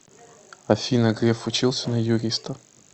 афина греф учился на юриста